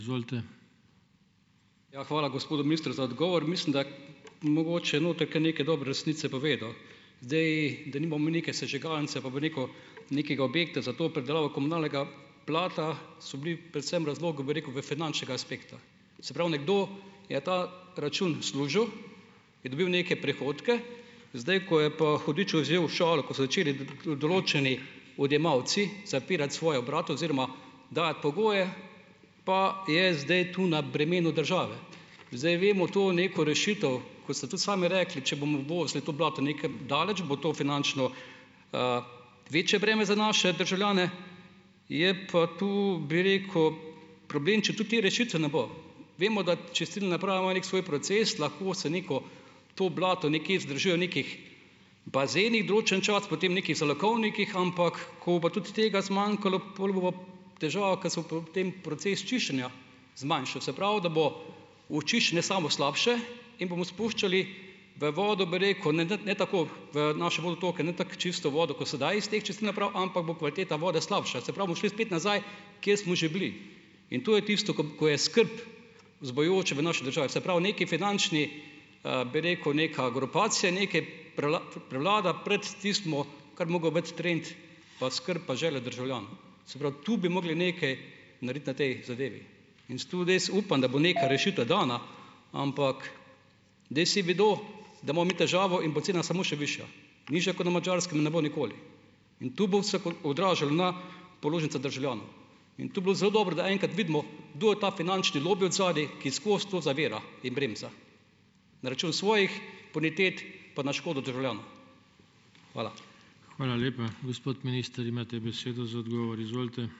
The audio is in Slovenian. Ja, hvala gospodu ministru za odgovor. Mislim, da mogoče noter kar nekaj dobre resnice povedal. Zdaj, da nimamo neke sežigalnice, pa bo rekel, nekega objekta za to predelavo komunalnega blata, so bili predvsem razlogi, bi rekel, v finančnega aspekta. Se pravi, nekdo, je ta račun služil, je dobil neke prihodke, zdaj, ko je pa hudič vzel šalo, ko so začeli določeni odjemalci zapirati svoja obrate oziroma dajati pogoje, pa je zdaj tu na bremenu države. Zdaj vemo to neko rešitev, kot ste tudi sami rekli, če bomo uvozili to blato nekam daleč, bo to finančno večje breme za naše državljane, je pa tu, bi rekel, problem, če tudi te rešitve ne bo. Vemo, da čistilna naprava ima neki svoj proces, lahko se neko to blato nekje zadržuje v nekih bazenih določen čas, potem nekih zalogovnikih, ampak ko bo pa tudi tega zmanjkalo, pol bo pa težava, k se pa ob tem proces čiščenja zmanjšal. Se pravi, da bo očiščenje samo slabše in bomo spuščali v vodo, bi rekel, ne tako v naše vodotoke, ne tako čisto vodo, kot sedaj iz teh čistilnih naprav, ampak bo kvaliteta vode slabša. Se pravi, bomo šli spet nazaj, kjer smo že bili. In to je tisto, ko je skrb vzbujajoče v naši državi. Se pravi neki finančni, bi rekel, neka grupacija, neke prevlada pred tistim, kar bi mogel biti trend pa skrb pa želja državljanov. Se pravi, tu bi mogli nekaj narediti na tej zadevi. In zato res upam, da bo neka rešitev dana, ampak zdaj vsi vedo, da imamo mi težavo in bo cena samo še višja. Nižja kot na Madžarskem ne bo nikoli. In tu bo se odražalo na položnicah državljanov. In to bi bilo zelo dobro, da enkrat vidimo, kdo je ta finančni lobi odzadaj, ki skozi to zavira in bremza. Na račun svojih bonitet pa na škodo državljanov. Hvala.